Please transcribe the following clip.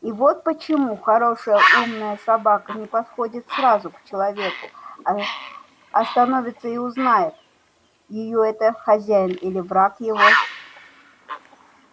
и вот почему хорошая умная собака не подходит сразу к человеку а а становится и узнает её это хозяин или враг его